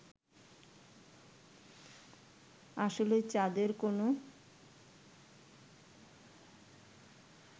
আসলেই চাঁদের কোন